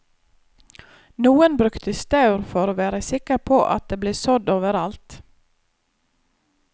Noen brukte staur for å være sikker på at det ble sådd over alt.